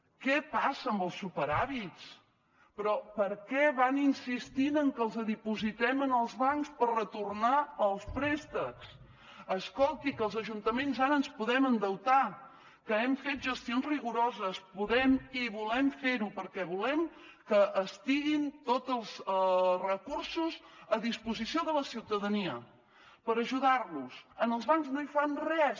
què passa amb els superàvits però per què van insistint en què els dipositem en els bancs per retornar els préstecs escolti que els ajuntaments ara ens podem endeutar que hem fet gestions rigoroses podem i volem fer ho perquè volem que estiguin tots els recursos a disposició de la ciutadania per ajudar los als bancs no hi fan res